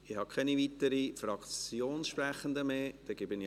Ich habe keine weiteren Fraktionssprechenden mehr auf der Liste.